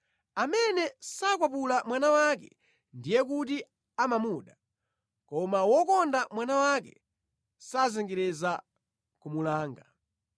Amene sakwapula mwana wake, ndiye kuti amamuda, koma wokonda mwana wake sazengereza kumulanga.